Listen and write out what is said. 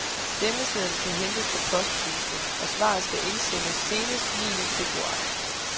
Stemmeseddel kan hentes på posthusene, og svaret skal indsendes senest niende februar.